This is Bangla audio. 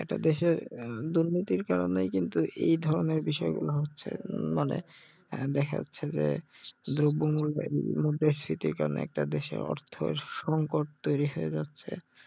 একটা দেশের আহ দুর্নীতির কারণেই কিন্তু এই ধরণের বিষয় গুলা হচ্ছে হম মানে আহ দেখা যাচ্ছে যে দ্রব্যমূল্যের মু~মুদ্রাস্ফীতির কারণে একটা দেশের অর্থ সংকট তৈরী হয়ে যাচ্ছে